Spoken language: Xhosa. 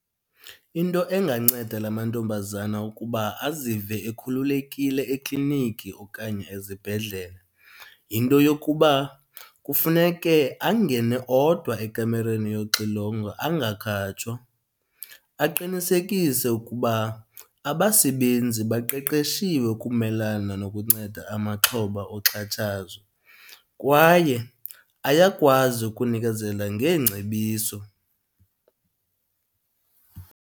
Into enganceda la mantombazana ukuba azive ekhululekile ekliniki okanye ezibhedlele, yinto yokuba kufuneke angene odwa ekamereni yoxilongo angakhatshwa. Aqinisekise ukuba abasebenzi baqeqeshiwe ukumelana nokunceda amaxhoba oxhatshazo kwaye ayakwazi ukunikezela ngeengcebiso.